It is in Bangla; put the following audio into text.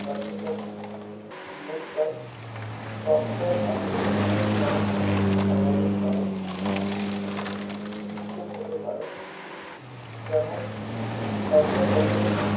কার্যকরী জীবন কাল Software update সমর্থনের অভাবের কারনে সীমিত হতে পারে যেমন শংশদপত্র